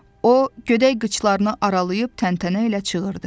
O gödək qıçlarını aralayıb təntənə ilə çığırdı.